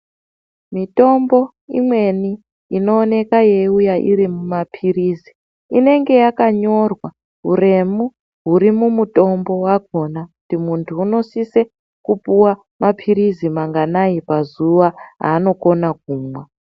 Mitombo imweni inoonekwa yeuya iri mapirizi inenge yakanyorwa huremu huri mumutombo wakona kuti muntu unosise kupuwa mapirizi manganai pazuwa anokona kumwa.